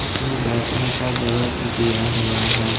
इसमें बैठने का जगह भी दिया हुआ है।